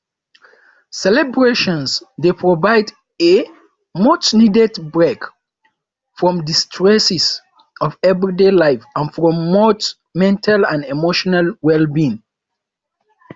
celebrations dey provide a muchneeded break from di stresses of everyday life and promote mental and emotional wellbeing